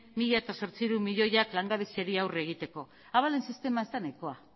mila zortziehun milioiak langabeziari aurre egiteko abalen sistema ez da nahikoa